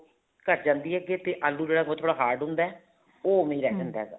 ਘੱਟ ਜਾਂਦੀ ਹੈ ਅੱਗੇ ਤੇ ਆਲੂ ਜਿਹੜਾ ਉਹ ਥੋੜਾ ਜਾ hard ਹੁੰਦਾ ਹੈ ਉਹ ਉਵੇ ਰਹਿ ਜਾਂਦਾ ਵਾ